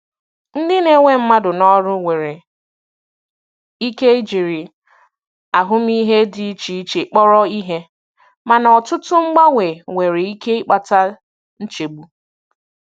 Ndị na-ewe mmadụ n'ọrụ nwere ike jiri ahụmịhe dị iche iche kpọrọ ihe, mana ọtụtụ mgbanwe nwere ike ịkpata nchegbu.